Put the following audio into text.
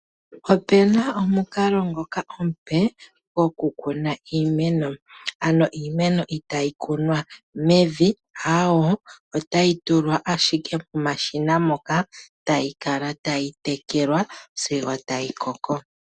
Opena omukalo. ngoka omupe gokukuna iimeno, ano iimeno itayi kunwa mevi, aawo, otayi tulwa ashike momashina moka tayi kala tayi tekelwa sigo tayi koko.